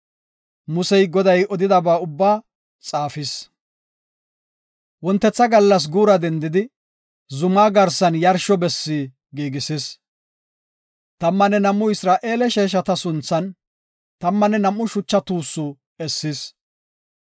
Musey Goday odidaba ubbaa xaafis. Wontetha gallas guura dendidi, zumaa garsan yarsho besse giigisis. Tammanne nam7u Isra7eele sheeshata sunthan, tammanne nam7u shucha tuussi essis.